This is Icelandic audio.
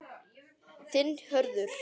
Þinn Hörður.